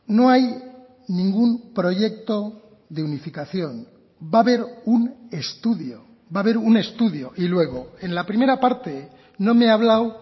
no hay ningún proyecto de unificación va a haber un estudio va a haber un estudio y luego en la primera parte no me ha hablado